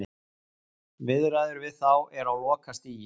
Viðræður við þá eru á lokastigi.